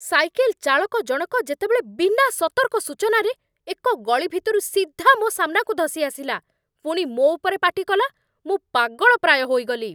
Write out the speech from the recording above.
Cycle ଚାଳକ ଜଣକ ଯେତେବେଳେ ବିନା ସତର୍କ ସୂଚନାରେ ଏକ ଗଳି ଭିତରୁ ସିଧା ମୋ ସାମ୍ନାକୁ ଧସି ଆସିଲା, ପୁଣି ମୋ ଉପରେ ପାଟି କଲା, ମୁଁ ପାଗଳ ପ୍ରାୟ ହୋଇଗଲି।